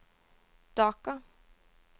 Dhaka